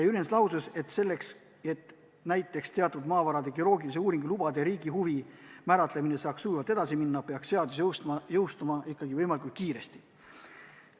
Jürjens lausus, et selleks, et teatud maavarade geoloogilise uuringu lubade riigihuvi määratlemine saaks sujuvalt edasi minna, peaks seadus jõustuma ikkagi võimalikult kiiresti.